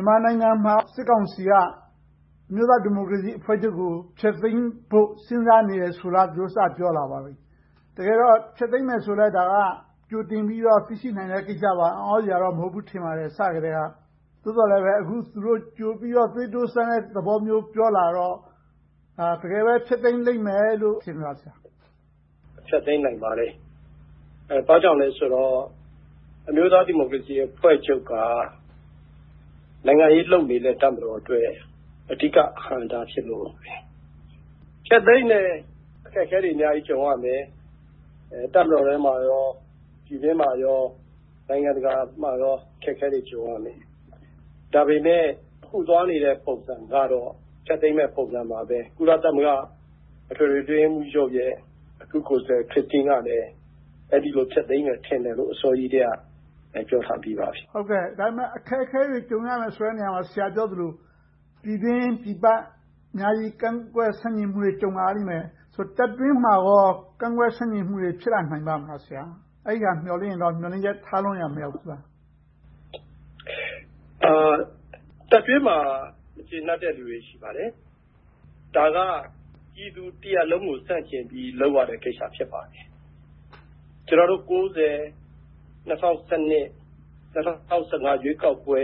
န်မာနိုင်ငံမှာ စစ်ကောင်စီက အမျိုးသားဒီမိုကရေစီအဖွဲ့ချပ်ကို ဖျက်သိမ်းဖို့ စဉ်းစားနေတယ်ဆိုတာကို သူတို့စပြောလာပါပြီ။ တကယ်တော့ ဖျက်သိမ်းမယ်ဆိုရင်လဲ ကြိုတင်ပြီးတော့ သိရှိနိုင်တဲ့ကိစ္စပါ။ အံ့သြစရာတော့ မဟုတ်ဘူးလို့ ထင်ပါတယ်။ အစကတည်းက။ သို့သော် သူတို့ ကြိုပြီးတော့ သွေးတိုးစမ်းတဲ့သဘောမျိုး ပြောလာတော့ တကယ်ပဲ ဖျက်သိမ်းလိမ့်မယ်လို့ ထင်ပါသလား။ ဖြေ ။ ။ ဖျက်သိမ်းနိုင်ပါတယ်။ ဘာကြောင့်လဲဆိုတော့ အမျိုးသားဒီမိုကရေစီအဖွဲ့ချုပ်က နိုင်ငံရေးလုပ်နေတဲ့ တပ်မတော်အတွက် အဓိကအဟန့်အတား ဖြစ်နေလို့ပဲ။ ဖျက်သိမ်းရင် အခက်အခဲတွေ အများကြီးကြုံရမယ်။ တပ်မတော်ထဲမှာ၊ ပြည်တွင်းမှာ၊ နိုင်ငံတကာမှာ အခက်အခဲတွေ ကြုံရမယ်။ ဒါပေမဲ့ အခုသွားနေတဲ့ ပုံစံကတော့ ဖျက်သိမ်းမယ့်ပုံစံပါပဲ။ ကုလသမဂ္ဂ အထွေထွေအတွင်းရေးမှူးချုပ်ရဲ့ အထူးကိုယ်စားလှယ် ခရစ်တင်းကလည်း အဲဒီလို ဖျက်သိမ်းမယ် ထင်တယ်လို့ အစောကြီးကတည်းက ပြောထားပြီးပါပြီ။ မေး ။ ။ ဒါပေမဲ့ အခက်အခဲတွေ ကြုံရမယ့်နေရာမှာ ဆရာပြောသလို ပြည်တွင်း၊ ပြည်ပ အများကြီးကန့်ကွက်ဆန္ဒပြမှုတွေ ကြုံလာရလိမ့်မယ်။ တပ်တွင်းမှာကော ကန့်ကွက်ဆန့်ကျင်မှုတွေ ဖြစ်လာနိုင်ပါ့မလား။ အဲဒါကို မျှော်လင့်ရင်တော့ မျှော်လင့်ချက်ထားလွန်ရာ မရောက်ဘူးလား။ ဖြေ ။ ။ တပ်တွင်းမှာ မကျေနပ်တဲ့လူတွေ ရှိပါတယ်။ ဒါက ပြည်သူတရပ်လုံးကို ဆန့်ကျင်ပြီး လုပ်ရတဲ့ကိစ္စ ဖြစ်ပါတယ်။ ကျနော်တို့ ၉၀၊ ၂၀၁၂၊ ၂၀၁၅ ရွေးကောက်ပွဲ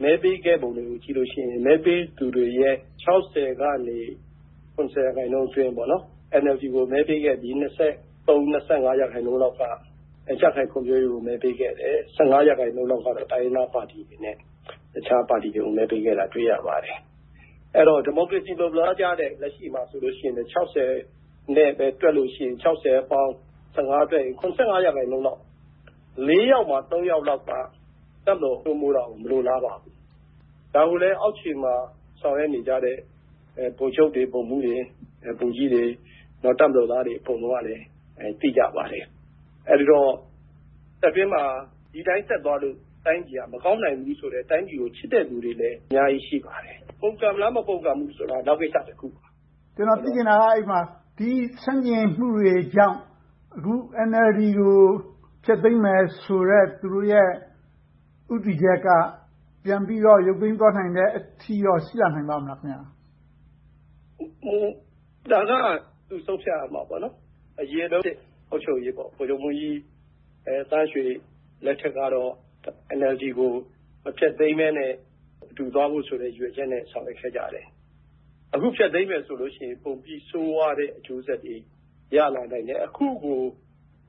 မဲပေးခဲ့ပုံတွေကို ကြည့်လိုက်လို့ရှိရင် မဲပေးသူတွေရဲ့ ၆၀ ကနေ ၇၀ ရာခိုင်နှုန်းအတွင်း NLD ကို မဲပေးခဲ့ပြီး၊ ၂၃-၂၅ ရာခိုင်နှုန်းလောက်က ကြံ့ခိုင်ဖွံ့ဖြိုးရေးကို မဲပေးခဲ့တယ်။ ၁၅ ရာခိုင်နှုန်းလောက်ကတော့ တိုင်းရင်းသားပါတီတွေနဲ့ အခြားပါတီတွေကို မဲပေးခဲ့တာ တွေ့ရပါတယ်။ အဲဒီတော့ ဒီမိုကရေစီ လိုလားကြတဲ့ လက်ရှိမှာဆိုရင်လဲ ၆၀ နဲ့ပဲ တွက်လို့ရှိရင် ၆၀ အပေါင်း ၁၅ = ၇၅ ရာခိုင်နှုန်းလောက်၊ လေးယောက်မှာ သုံးယောက်လောက်က တပ်မတော်စိုးမိုးတာကို မလိုလားပါဘူး။ ဒါကိုလဲ အောက်ခြေမှာ ဆောင်ရွက်နေကြတဲ့ ဗိုလ်ချုပ်တွေ၊ ဗိုလ်မှူးတွေ၊ ဗိုလ်ကြီးတွေ၊ တပ်မတော်သားတွေ အကုန်လုံးကလည်း သိကြပါတယ်။ အဲဒီတော့ တပ်တွင်းမှာ ဒီအတိုင်း ဆက်သွားလို့ တိုင်းပြည်က မကောင်းနိုင်ဘူးဆိုတော့ တိုင်းပြည်ကို ချစ်တဲ့လူတွေလည်း အများကြီးရှိပါတယ်။ ပုန်ကန်မလား၊ မပုန်ကန်ဘူးလားဆိုတာ နောက်ကိစ္စတခုပါ။ မေး ။ ။ ကျနော်သိချင်တာက ဒီဆန့်ကျင်မှုတွေကြောင့် အခု NLD ကို ဖျက်သိမ်းမယ်ဆိုတဲ့ သူတို့ရဲ့ ဦးတည်ချက်က ပြန်ပြီးတော့ ရုတ်သိမ်းသွားနိုင်တဲ့အထိတော့ ရှိလာနိုင်ပါ့မလား။ ဖြေ ။ ။ ဒါကတော့ သူတို့ဆုံးဖြတ်ရမှာပေါ့။ အရင်ဆုံး အုပ်ချုပ်ရေးပေါ့။ ဗိုလ်ချုပ်မှူးကြီးသန်းရွှေလက်ထက်ကတော့ NLD ကို မဖျက်သိမ်းဘဲနဲ့ အတူသွားဖို့ ရည်ရွယ်ချက်နဲ့ ဆောင်ရွက်ခဲ့ကြတယ်။ အခုဖျက်သိမ်းမယ်ဆိုရင် ပိုပြီးဆိုးဝါးတဲ့ အကျိုးဆက်တွေ ရလာနိုင်တယ်။ အခုကို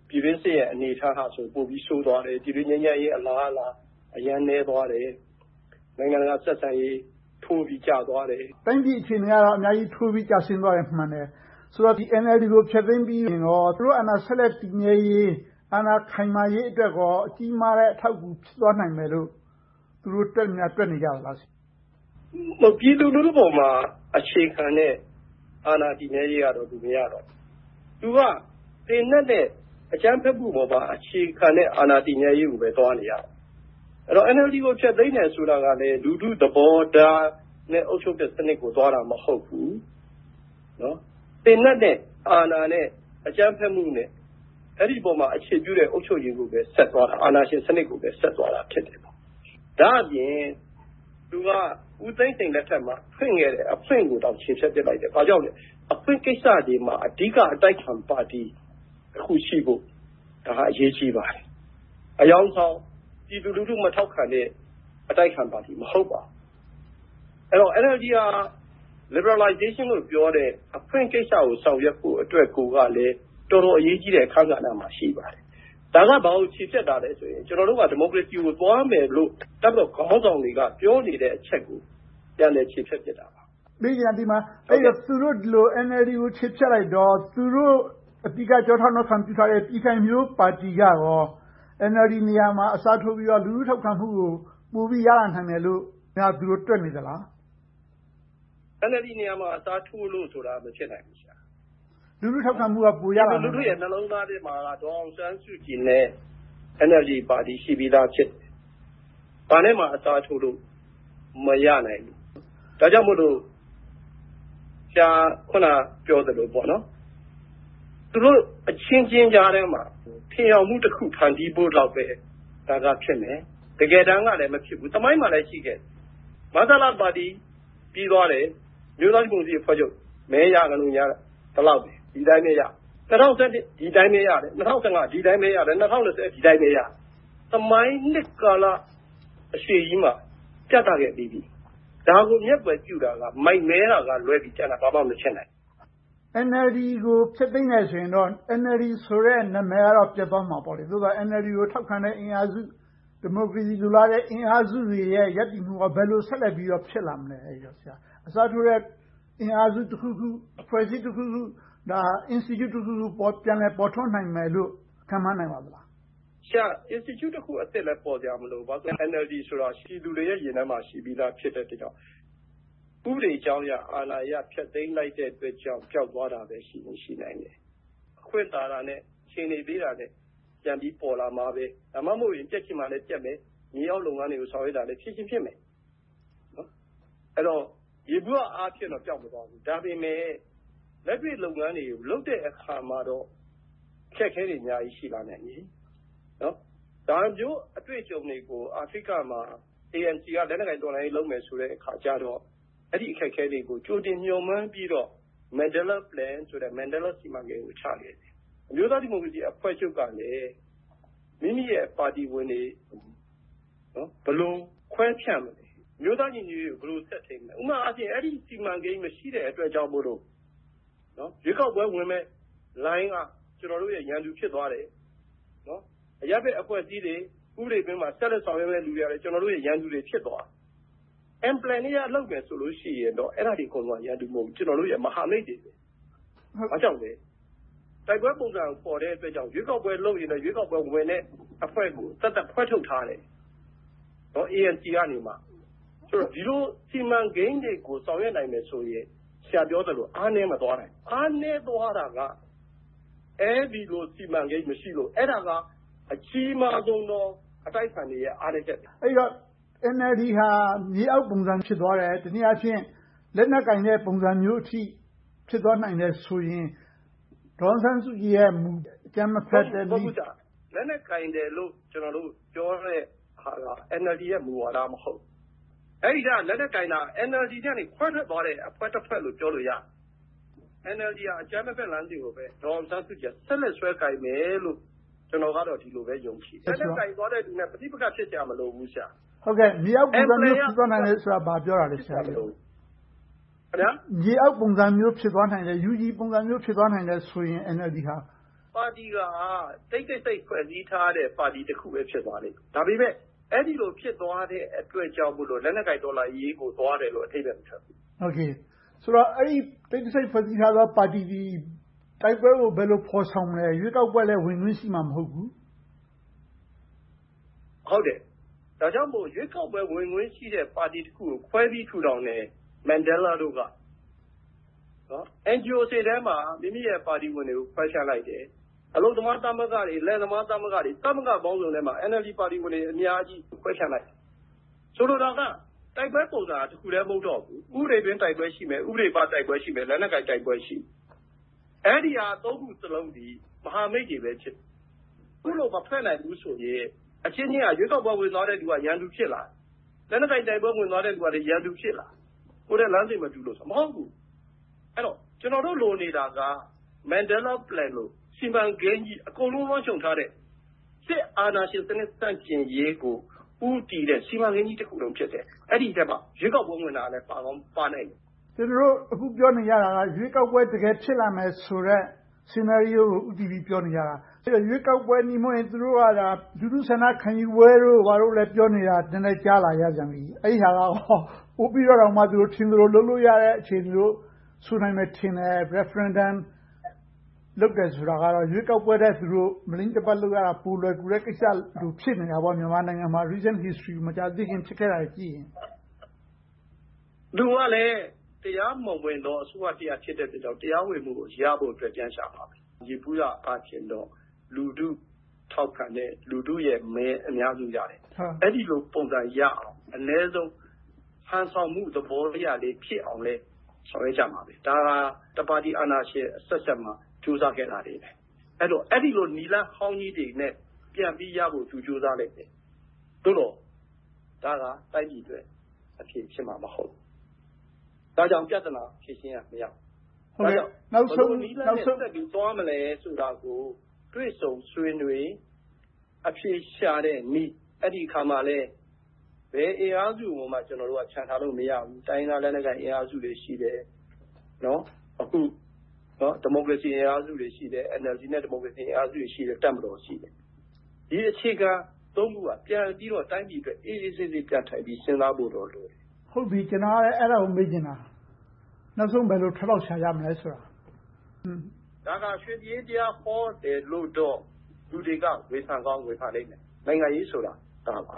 ပြည်တွင်းစစ်ရဲ့ အနေအထားက ပိုပြီးတော့ ဆိုးဝါးလာတယ်။ ပြည်တွင်းငြိမ်းချမ်းရေး အလားအလာ၊ အရမ်းနည်းသွားတယ်။ နိုင်ငံတကာဆက်ဆံရေး ထိုးပြီးကျသွားတယ်။ မေး ။ ။ တိုင်းပြည်အခြေအနေက အများကြီးထိုးကျသွားတာ မှန်တယ်။ ဆိုတော့ NLD ကို ဖျက်သိမ်းရင်ကော သူတို့အာဏာတည်မြဲရေး၊ အာဏာခိုင်မာရေးအတွက်ကော ကြီးမားတဲ့ အထောက်အကူ ဖြစ်သွားနိုင်တယ်လို့ သူတို့တွက်များ တွက်နေကြသလား။ ဖြေ ။ ။ ပြည်သူလူထုပေါ်မှာ အခြေခံတဲ့ အာဏာတည်မြဲရေးကတော့ သူမရတော့ဘူး။ သူက သေနတ်နဲ့ အကြမ်းဖက်မှုပေါ်မှာ အခြေခံတဲ့ အာဏာတည်မြဲရေးကိုပဲ သွားနေတယ်။ အဲဒီတော့ NLD ဖျက်သိမ်းတယ်ဆိုတာကလဲ လူထုသဘောထားနဲ့ အုပ်ချုပ်တဲ့စနစ်ကို သွားတာမဟုတ်ဘူး။ သေနတ်နဲ့ အာဏာနဲ့ အကြမ်းဖက်မှုနဲ့ အဲဒီပေါ်မှာ အခြေပြုတဲ့ အုပ်ချုပ်ရေးကိုပဲ ဆက်သွားတာ။ အာဏာရှင်စနစ်ကိုပဲ ဆက်သွားတာ ဖြစ်တယ်။ ဒါ့အပြင် သူက ဦးသိန်းစိန်လက်ထက်မှာ ဖွင့်ခဲ့တဲ့ အဖွင့်ကိုတောင် ချေဖျက်ပစ်လိုက်တယ်။ အဖွင့်ကိစ္စတွေမှာ အဓိကအတိုက်အခံပါတီ တခုရှိဖို့ ဒါကအရေးကြီးပါတယ်။ အယောင်ဆောင် ပြည်သူလူထုမထောက်ခံတဲ့ အတိုက်အခံပါတီ မဟုတ်ပါဘူး။ အဲဒီတော့ NLD က Liberalization လို့ ပြောတဲ့ အဖွင့်ကိစ္စကို ဆောင်ရွက်ဖို့အတွက်ကိုကလဲ တော်တော်အရေးကြီးတဲ့ အခန်းကဏ္ဍမှာ ရှိပါတယ်။ ဒါက ဘာကိုချေဖျက်တာလဲဆိုရင် ကျနော်တို့က ဒီမိုကရေစီကို သွားမယ်လို့ တပ်မတော်ခေါင်းဆောင်တွေက ပြောနေတဲ့အချက်ကို ပြန်လည်ချေဖျက်ပစ်တာပါ။ မေး ။ ။ မေးချင်တာက သူတို့ ဒီလို NLD ကို ချေဖျက်လိုက်တော့ သူတို့ အဓိကကျောထောက်နောက်ခံပြုထားတဲ့ ပြည်ခိုင်ဖြိုးပါတီကရော NLD နေရာမှာ အစားထိုးပြီးတော့ လူထုထောက်ခံမှုကို ပိုပြီးရလာနိုင်မယ်လို့ သူတို့ တွက်နေသလား။ ဖြေ ။ ။ NLD နေရာမှာ အစားထိုးဖို့ဆိုတာ မဖြစ်နိုင်ဘူး။ ပြည်သူလူထုရဲ့ နှလုံးသားထဲမှာ ဒေါ်အောင်ဆန်းစုကြည်နဲ့ NLD ပါတီ ဘာနဲ့မှ အစားထိုးလို့ မရနိုင်ဘူး။ ဒါကြောင့်မို့ ဆရာ အခုနပြောသလို သူတို့အချင်းချင်းကြားထဲမှာ ထင်ယောင်မှုတခု ဖန်တီးဖို့လောက်ပဲ ဒါကဖြစ်တယ်။ တကယ်တမ်းကလဲ မဖြစ်ဘူး။ သမိုင်းမှာလဲ ရှိခဲ့တယ်။ မဆလပါတီ ပြီးသွားတယ်။ အမျိုးသားဒီမိုကရေစီအဖွဲ့ချုပ် မဲရသလိုငြား ဒီလောက်ပဲ၊ ဒီအတိုင်းပဲရတယ်။ ၂၀၁၂ ဒီအတိုင်းပဲရတယ်။ ၂၀၁၅ ဒီအတိုင်းပဲရတယ်။ ၂၀၂၀ ဒီအတိုင်းပဲရတယ်။ သမိုင်းနှစ်ကာလအရှည်ကြီးမှာ ပြသခဲ့ပြီးပြီ။ ဒါကိုမျက်ကွယ်ပြုတာက မိုက်မဲတာကလွဲပြီး ကျန်တာဘာမှမဖြစ်နိုင်ဘူး။ မေး ။ ။ NLD ကို ဖျက်သိမ်းတယ်ဆိုရင်တော့ NLD ဆိုတဲ့ နာမည်ကတော့ ပျက်သွားမှာပေါ့။ သို့သော် NLD ကို ထောက်ခံတဲ့အင်အားစု၊ ဒီမိုကရေစီအင်အားစုတွေရဲ့ ရပ်တည်မှုက ဘယ်လိုဆက်လက်ပြီးတော့ ဖြစ်လာမလဲ။ အစားထိုးမယ့် အင်အားစုတခုခု၊ အဖွဲ့အစည်းတခုခု၊ Institute တခုခု ပြန်လည်ပေါ်ထွန်းလာနိုင်မယ်လို့ ခန့်မှန်းနိုင်ပါသလား။ ဖြေ ။ ။ Institute အသစ်တခုလည်း ပြန်လည်ပေါ်လာစရာ မလိုဘူး။ NLD ဆိုတာ ပြည်သူတွေရဲ့ ရင်ထဲမှာ ရှိပြီသားဖြစ်တယ်။ ဥပဒေအကြောင်းအရ၊ အာဏာအရ ဖျက်သိမ်းလိုက်တဲ့အတွက်ကြောင့် ပျောက်သွားတာပဲ ရှိနိုင်တယ်။ အခွင့်သာတာနဲ့ အခြေအနေပေးတာနဲ့ ပြန်ပြီးပေါ်လာမှာပဲ။ ဒါမှမဟုတ်ရင် ပျက်ချင်မှလဲ ပျက်မယ်။ မြေအောက်လုပ်ငန်းတွေကို ဆောင်ရွက်တာလဲ ဖြစ်ချင်ဖြစ်မယ်။ အဲဒီတော့ ယေဘုယျအားဖြင့်တော့ မပျောက်သွားဘူး။ ဒါပေမဲ့ လက်တွေ့လုပ်ငန်းတွေကို လုပ်တဲ့အခါမှာတော့ အခက်အခဲတွေ အများကြီးရှိလာနိုင်မယ်။ ဒါမျိုး အတွေ့အကြုံတွေကို အာဖရိကမှာ ANC က လက်နက်ကိုင်တော်လှန်ရေး လုပ်မယ်ဆိုတော့ အဲဒီအခက်အခဲတွေကို ကြိုတင်မျှော်မှန်းပြီးတော့ Mandela’s Plan ဆိုပြီးတော့ မန်ဒဲလ်လားစီမံကိန်းကို ချခဲ့တယ်။ အမျိုးသားဒီမိုကရေစီအဖွဲ့ချုပ်ကလည်း မိမိရဲ့ ပါတီဝင်တွေ ဘယ်လိုခွဲဖြန့်မလဲ။ အမျိုးသားညီညွှတ်ရေးကို ဘယ်လိုဆက်ထိန်းမလဲ။ ဥပမာ အဲဒီစီမံကိန်း မရှိတဲ့အတွက်ကြောင့်မို့ ရွေးကောက်ပွဲဝင်မယ့်လိုင်းက ကျနော်တို့ရဲ့ ရန်သူဖြစ်သွားတယ်။ အရပ်ဘက်အဖွဲ့အစည်းတွေ ဥပဒေတွင်းမှာ တက်တက်ကြွကြွ ဆောင်ရွက်မယ့်လူတွေကလဲ ကျနော်တို့ရဲ့ ရန်သူဖြစ်သွားတယ်။ Implementing လုပ်မယ်ဆိုရင်တော့ အဲဒါတွေက ကျနော်တို့ရဲ့ ရန်သူမဟုတ်ဘူး၊ မဟာမိတ်တွေ ဖြစ်တယ်။ ဘာကြောင့်လဲ တိုက်ပွဲပုံစံ ဖော်ဆောင်တဲ့အတွက် ရွေးကောက်ပွဲလုပ်ရင် ရွေးကောက်ပွဲဝင်မယ့် အဖွဲ့ကို သက်သက်ခွဲထုတ်ထားတယ်။ ANC ကနေ။ ဒီလို စီမံကိန်းတွေကို ဆောင်ရွက်နိုင်မယ်ဆိုရင် ဆရာပြောသလို အားနည်းမသွားနိုင်ဘူး။ အားနည်းသွားတာက အဲဒီလို စီမံကိန်း မရှိလို့။ အဲဒါက အကြီးမားဆုံးသော အတိုက်အခံတွေရဲ့ အားနည်းချက်ဖြစ်တယ်။ မေး ။ ။ အဲဒီတော့ NLD ဟာ မြေအောက်ပုံစံ ဖြစ်သွားတယ်။ တနည်းအားဖြင့် လက်နက်ကိုင်တဲ့ ပုံစံမျိုးအထိ ဖြစ်သွားနိုင်တယ်ဆိုရင် ဒေါ်အောင်ဆန်းစုကြည်ရဲ့မူ အကြမ်းမဖက်တဲ့နည်း ပျက်သွားမလား။ ဖြေ ။ ။ လက်နက်ကိုင်တယ်လို့ ကျနော်တို့ ပြောတဲ့ဟာက NLD ရဲ့ မူဝါဒ မဟုတ်ဘူး။ လက်နက်ကိုင်တာ NLD နဲ့ ခွဲထွက်သွားတဲ့ အဖွဲ့တဖွဲ့လို့ ပြောလို့ရတယ်။ NLD က အကြမ်းမဖက်လမ်းစဉ်ကိုပဲ ဒေါ်အောင်ဆန်းစုကြည်က ဆက်လက်ဆွဲကိုင်မယ်လို့ ကျနော်ကတော့ ဒီလိုပဲ ယုံကြည်တယ်။ လက်နက်ကိုင်သွားတဲ့လူနဲ့ ပဋိပက္ခ ဖြစ်စရာမလိုဘူး။ မေး ။ ။ မြေအောက်လှုပ်ရှားမှုပုံစံမျိုး UG ပုံစံမျိုး ဖြစ်သွားမယ်ဆိုတာ ဘာကိုပြောတာလဲ။ ဖြေ ။ ။ ပါတီက တိတ်တဆိတ် ဖွဲ့စည်းထားတဲ့ ပါတီတခုပဲ ဖြစ်သွားလိမ့်မယ်။ ဒါပေမဲ့ အဲဒီလို ဖြစ်သွားတဲ့အတွက်ကြောင့် လက်နက်ကိုင်တော်လှန်ရေးကို သွားတယ်လို့ အဓိပ္ပါယ်မထွက်ဘူး။ မေး ။ ။ ဆိုတော့ အဲဒီလို တိတ်တဆိတ် ဖွဲ့စည်းထားတဲ့ ပါတီက တိုက်ပွဲကို ဘယ်လိုဖော်ဆောင်မလဲ။ ရွေးကောက်ပွဲလည်း ဝင်ခွင့်ရှိမှာ မဟုတ်ဘူး။ ဖြေ ။ ။ ဟုတ်တယ်။ ဒါကြောင့်မို့ ရွေးကောက်ပွဲကို ဝင်ခွင့်ရှိတဲ့ ပါတီတခုကို ခွဲပြီးထူထောင်တဲ့ မန်ဒဲလ်လားတို့က။ NGOs တွေမှာ မိမိတို့ ပါတီဝင်များကို ခွဲဖြန့်လိုက်တယ်။ အလုပ်သမားသမဂ္ဂတွေ၊ လယ်သမားသမဂ္ဂတွေ၊ သမဂ္ဂပေါင်းစုံထဲမှာ NLD ပါတီဝင်တွေ အများကြီးခွဲဖြန့်လိုက်မယ်။ ဆိုလိုတာက တိုက်ပွဲပုံစံက တခုတည်း မဟုတ်တော့ဘူး။ ဥပဒေတွင်း တိုက်ပွဲပုံစံရှိမယ်။ ဥပဒေပြင်ပတိုက်ပွဲရှိမယ်။ လက်နက်ကိုင်တိုက်ပွဲရှိမယ်။ အဲဒီဟာ သုံးခုစလုံးသည် မဟာမိတ်တွေပဲ ဖြစ်တယ်။ အခုလို မဖွဲ့နိုင်ဘူးဆိုရင် အချင်းချင်းက ရွေးကောက်ပွဲဝင်သွားတဲ့လူက ရန်သူဖြစ်လာတယ်။ လက်နက်ကိုင်တိုက်ပွဲ ဝင်သွားတဲ့လူကလဲ ရန်သူဖြစ်လာတယ်။ ကိုယ်နဲ့လမ်းစဉ်မတူလို့ဆိုပြီ။ မဟုတ်ဘူး။ အဲဒီတော့ ကျနော်တို့ လိုနေတာက မန်ဒဲလ်လားစီမံကိန်းလို အကုန်လုံးလွှမ်းခြုံထားတဲ့ စစ်အာဏာရှင်စနစ် ဆန့်ကျင်ရေးကို ဦးတည်တဲ့ စီမံကိန်းကြီးတခုလုံး ဖြစ်တယ်။ အဲဒီအထဲမှာ ရွေးကောက်ပွဲဝင်တာလဲ ပါကောင်းပါနိုင်မယ်။ မေး ။ ။ ကျနော်တို့ အခုပြောနေကြတာက ရွေးကောက်ပွဲ တကယ်ဖြစ်လာမယ်ဆိုတဲ့ အခြေအနေကို ဦးတည်ပြီးတော့ ပြောနေကြတာ။ သူတို့က ရွေးကောက်နည်းနဲ့မဟုတ်ဘဲ၊ လူထုဆန္ဒခံယူပွဲတို့ ဘာတို့ ပြောနေတာကို နည်းနည်းကြာနေရပြန်ပြီ။ အဲဒါကရော ပိုပြီးတော့ ထင်သလိုလုပ်လို့ရတဲ့ အခြေအနေမျိုး ဆိုနိုင်မယ်ထင်တယ်။ Referendum လုပ်တယ်ဆိုတာက ရွေးကောက်ပွဲထက် မလိမ့်တပတ် လုပ်ရတာ ပိုလွယ်ကူတဲ့ကိစ္စလို့ ဖြစ်နေတာပေါ့။ မြန်မာနိုင်ငံမှာ မကြာသေးခင်က ဖြစ်ခဲ့တာတွေကိုကြည့်ရင်။ ဖြေ ။ ။ သူကလဲ တရားမဝင်သော အစိုးရတရပ် ဖြစ်တဲ့အတွက်ကြောင့် တရားဝင်မှုကို ရဖို့အတွက်ကို ပြန်ရှာမှာပဲ။ ယေဘုယျအားဖြင့်တော့ လူထုထောက်ခံတယ်၊ လူထုရဲ့မဲ အများစုရဖို့။ အဲဒီလို ပုံစံရအောင် အနည်းဆုံး ဟန်ဆောင်မှုသဘောအရလေး ဖြစ်အောင်လဲ ဆောင်ရွက်ကြမှာပဲ။ ဒါဟာ တပါတီအာဏာရှင်အဆက်ဆက်မှာ ကြိုးစားခဲ့တာတွေပဲ။ အဲဒီလို နည်းလမ်းအဟောင်းကြီးတွေနဲ့ ပြန်ပြီးရဖို့ သူကြိုးစားလိမ့်မယ်။ သို့သော် ဒါက တိုင်းပြည်အတွက် အဖြေဖြစ်မှာ မဟုတ်ဘူး။ ဒါကြောင့် ပြဿနာ ဖြေရှင်းရာမရောက်ဘူး။ ဘယ်လိုနည်းလမ်းနဲ့ သွားမလဲဆိုတာကို တွေ့ဆုံဆွေးနွေး၊ အဖြေရှာတဲ့နည်း အဲဒီအခါမှာလဲ ဘယ်အင်အားစုကိုမှ ချန်ထားလို့မရဘူး။ တိုင်းရင်းသားလက်နက်ကိုင် အင်အားစုတွေ ရှိတယ်။ NLD နဲ့ ဒီမိုကရေစီအင်အားစုတွေ ရှိတယ်။ တပ်မတော် ရှိတယ်။ ဒီအခြေခံ အင်အားစု ခုက ပြန်ပြီးတော့ တိုင်းပြည်အတွက် အေးအေးဆေးဆေး ပြန်ထိုင်ပြီး စဉ်းစားဖို့တော့ လိုတယ်။ မေး ။ ။ ဟုတ်ပြီ.. ကျနော်က အဲဒါကို မေးချင်တာ။ နောက်ဆုံးဘယ်လို ထွက်ပေါက်ရှာကြမလဲဆိုတာ။ ဖြေ ။ ။ ဒါက ရွှေပြည်အေးတရားဟောတယ်လို့ လူတွေက ဝေဖန်ကောင်း ဝေဖန်လိမ့်မယ်။ နိုင်ငံရေးဆိုတာ ဒါပါ